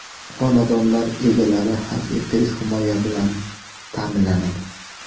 Xonadonlar egalari haqiqiy himoya bilan ta’minlanadi.